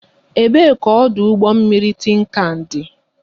Ebe ka ọdụ ụgbọ mmiri Tinkan dị?